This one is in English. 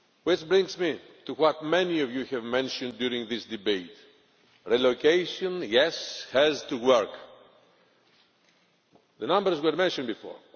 This brings me to what many of you have mentioned during this debate. Relocation, yes, has to work. The numbers were mentioned before.